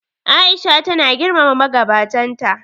A'isha tana girmama magabatan ta.